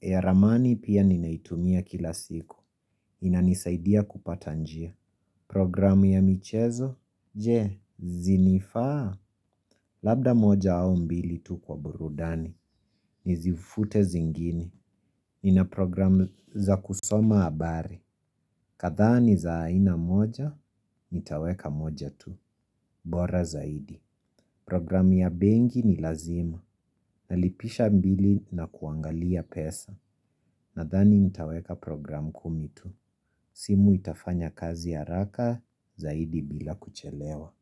ya ramani pia ninaitumia kila siku. Inanisaidia kupata njia. Program ya michezo? Je, zinifaa? Labda moja au mbili tu kwa burudani. Nizifute zingine. Nina program za kusoma habari. Kadhaa ni za aina moja, nitaweka moja tu. Bora zaidi. Program ya benki ni lazima. Nalipisha mbili na kuangalia pesa. Nadhani nitaweka program kumi tu. Simu itafanya kazi haraka zaidi bila kuchelewa.